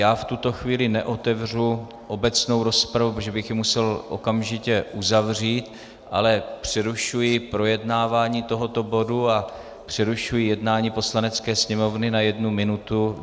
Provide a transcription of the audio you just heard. Já v tuto chvíli neotevřu obecnou rozpravu, protože bych ji musel okamžitě uzavřít, ale přerušuji projednávání tohoto bodu a přerušuji jednání Poslanecké sněmovny na jednu minutu.